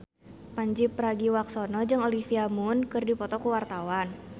Pandji Pragiwaksono jeung Olivia Munn keur dipoto ku wartawan